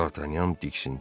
Dartanyan diksindi.